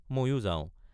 ময়ো যাওঁ।